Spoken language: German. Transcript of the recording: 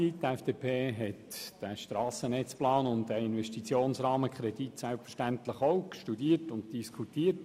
Die FDP hat den Strassennetzplan und den Investitionsrahmenkredit selbstverständlich auch studiert und diskutiert.